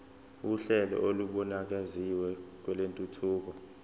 uhlelo olubukeziwe lwentuthuko